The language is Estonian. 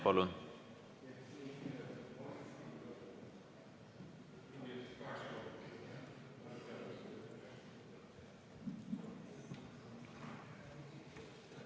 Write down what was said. Palun!